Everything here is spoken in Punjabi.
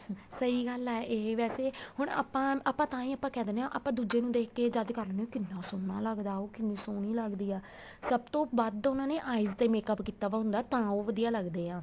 ਸਹੀਂ ਗੱਲ ਆ ਏ ਵੈਸੇ ਹੁਣ ਆਪਾਂ ਆਪਾਂ ਤਾਂਹੀ ਆਪਾਂ ਕਹਿ ਦਿੰਨੇ ਹਾਂ ਆਪਾਂ ਦੂਜੇ ਨੂੰ ਦੇਖਕੇ ਜਦ ਕਹਿਣੇ ਹਾਂ ਕਿੰਨਾ ਸੋਹਣਾ ਲੱਗਦਾ ਉਹ ਕਿੰਨੀ ਸੋਹਣੀ ਲੱਗਦੀ ਆ ਸਭ ਤੋਂ ਵੱਧ ਉਹਨਾ ਨੇ eyes ਤੇ makeup ਕੀਤਾ ਵਾ ਹੁੰਦਾ ਤਾਂ ਉਹ ਵਧੀਆ ਲੱਗਦੇ ਆ